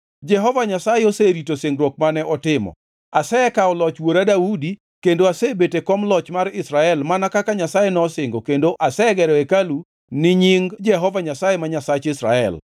“Jehova Nyasaye oserito singruok mane otimo. Asekawo loch wuora Daudi kendo asebet e kom loch mar Israel mana kaka Nyasaye nosingo kendo asegero hekalu ni Nying Jehova Nyasaye ma Nyasach Israel.